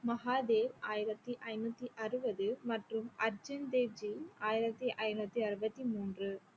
மஹா தேவ் ஆயிரத்தி ஐநூத்தி அறுவது மற்றும் அர்ஜன் தேவ் ஜி ஆயிரத்தி ஐநூத்தி அறுவத்தி மூன்று